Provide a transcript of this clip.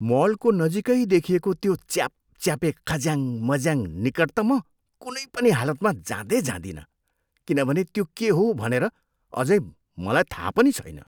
मलको नजिकै देखिएको त्यो च्यापच्यापे खज्याङ मज्याङनिकट त म कुनै पनि हालमा जाँदै जादिनँ किनभने त्यो के हो भनेर अझै मलाई थाहा पनि छैन।